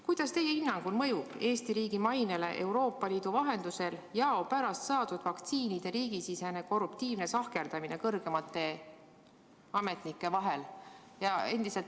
Kuidas teie hinnangul mõjub Eesti riigi mainele Euroopa Liidu vahendusel jao pärast saadud vaktsiinide riigisisene korruptiivne sahkerdamine kõrgemate ametnike vahel?